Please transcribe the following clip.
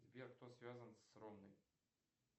сбер кто связан с ронной